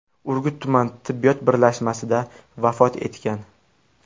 Urgut tuman tibbiyot birlashmasida vafot etgan.